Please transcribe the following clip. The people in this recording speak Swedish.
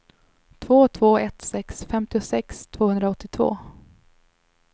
två två ett sex femtiosex tvåhundraåttiotvå